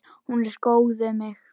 Hún er góð við mig.